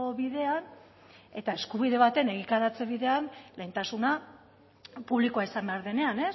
bidean eta eskubide baten egikaritze bidean lehentasuna publikoa izan behar denean